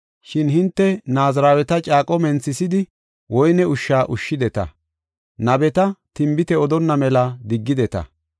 Shin hinte Naaziraweta caaqo menthisidi, woyne ushsha ushshideta; nabeta tinbite odonna mela diggideta.